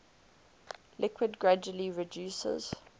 liquid gradually reduces